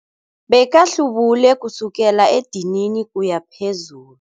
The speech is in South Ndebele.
Bekahlubule kusukela edinini ukuya phezulu.